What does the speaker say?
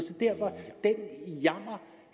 så derfor